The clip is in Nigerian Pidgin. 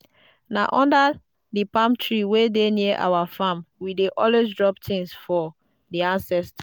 na under the palm tree wey near our farm we dey always drop things for the ancestors.